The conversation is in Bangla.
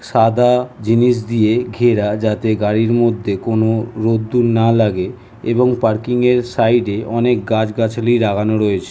সাদা জিনিস দিয়ে ঘেরা যাতে গাড়ির মধ্যে কোনো রোদ্দুর না লাগে। এবং পার্কিং এর সাইড -এ অনেক গাছগাছালি লাগানো রয়েছে ।